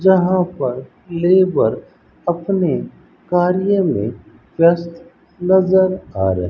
यहां पर लेबर अपने कार्य में व्यस्त नजर आ रहे --